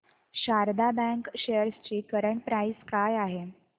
Sharda bank shares ची current price काय आहे